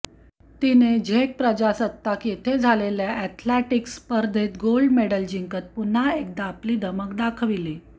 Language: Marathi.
तिने झेक प्रजासत्ताक येथे झालेल्या ऍथलेटिक्स स्पर्धेत गोल्ड मेडल जिंकत पुन्हा एकदा आपली धमक दाखवली